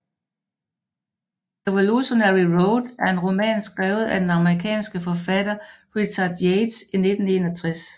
Revolutionary Road er en roman skrevet af den amerikanske forfatter Richard Yates i 1961